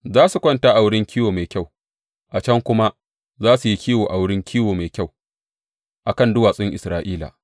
Za su kwanta a wurin kiwo mai kyau, a can kuma za su yi kiwo a wurin kiwo mai kyau a kan duwatsun Isra’ila.